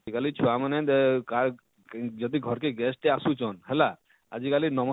ଆଜିକାଲି ଛୁଆ ମାନେ ଦେ କାଏ ଯଦି ଘରକେ guest ଟେ ଅସୁଛନ ହେଲା ଆଜିକାଲି